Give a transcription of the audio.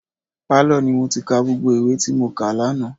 Pálọ̀ ni mo ti ka gbogbo ìwé tí mo kà lánàá.